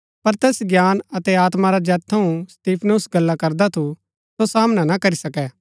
पर तैस ज्ञान अतै आत्मा रा जैत थऊँ स्तिफनुस गल्ला करदा थू सो सामना ना करी सके